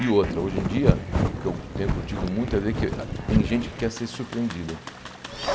E outra, hoje em dia, o que eu tenho curtido muito é ver que ah tem gente que quer ser surpreendida.